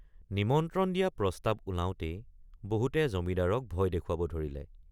নিমন্ত্ৰণ দিয়া প্ৰস্তাৱ ওলাওতেই বহুতে জমিদাৰক ভয় দেখুৱাব ধৰিলে।